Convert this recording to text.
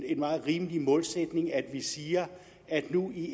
en meget rimelig målsætning at vi siger at vi nu i